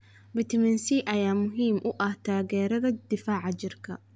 Faytamiin C ayaa muhiim u ah taageeridda difaaca jirka.